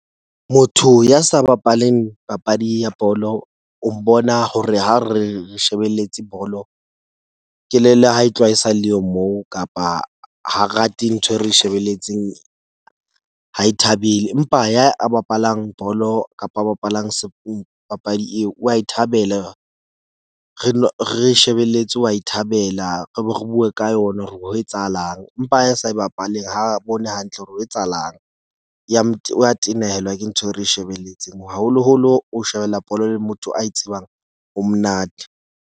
Motho ya sa bapaleng papadi ya bolo o mbona hore ha re shebelletse bolo, kelello ha e tloha e sa le yo, moo kapa ha rate ntho e re shebelletseng. Ha e thabele, empa ya a bapalang bolo kapa a bapalang papadi eo wa e thabela re no re shebeletse wa e thabela re be re bue ka yona. Re bue ho etsahalang empa ya e sa bapaleng ha bone hantle hore ho etsahalang ya wa tenehelwa ke ntho e re shebeletseng haholoholo, ho shebella bolo le motho a e tsebang ho monate.